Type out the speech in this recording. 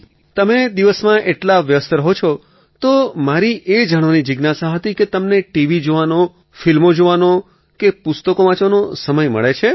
અખિલ તમે દિવસમાં એટલા વ્યસ્ત રહો છો તો મારી એ જાણવાની જિજ્ઞાસા હતી કે તમને ટીવી જોવાનો ફિલ્મ જોવાનો કે પુસ્તકો વાંચવાનો સમય મળે છે